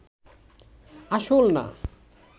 আসল না